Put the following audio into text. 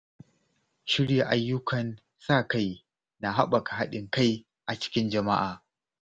Shirya ayyukan sa-kai na haɓaka haɗin kai a cikin jama’a.